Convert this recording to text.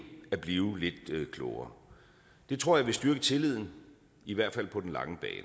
at blive lidt klogere det tror jeg vil styrke tilliden i hvert fald på den lange bane